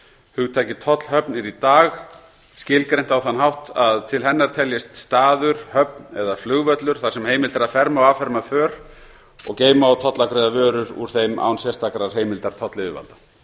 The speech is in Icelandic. hugtakið tollhöfn er í dag skilgreint á þann hátt að til hennar teljist staður höfn eða flugvöllur þar sem heimilt er að ferma og afferma för og geyma og tollafgreiða vörur úr þeim án sérstakrar heimildar tollyfirvalda